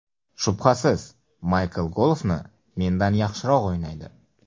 Shubhasiz, Maykl golfni mendan yaxshiroq o‘ynaydi.